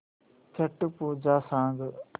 छट पूजा सांग